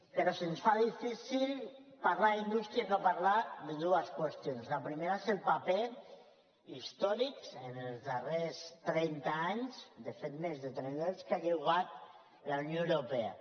però se’ns fa difícil parlar d’indústria i no parlar de dues qüestions la primera és el paper històric que en els darrers trenta anys de fet més de trenta anys ha jugat la unió europea